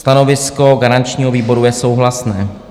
Stanovisko garančního výboru je souhlasné.